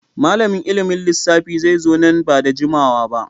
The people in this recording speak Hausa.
Malamin ilimin lissafi zai zo nan ba da jimawa ba.